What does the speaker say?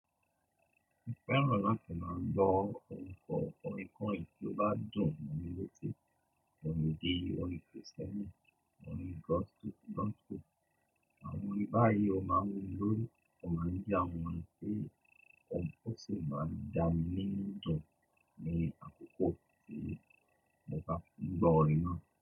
Mo fẹ́ràn láti máa gbọ́ orin kọ́ orin kórin tí ó bá dùn mi lórí. Ṣé orin ìdí, orin kìrìsìtẹ́nì, orin gospel, àwọn orin báyìí ó máa wù mí lórí. Orín jẹ́ àwon ohun tí ó sì máa ń dá mi nínu dùn ní àkókò tí mo bá ń gbọ́ orin náà.